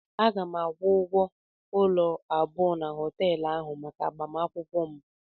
Aga m akwụgwo ụlọ abụọ na họteelu ahụ maka agbamakwụkwọ m.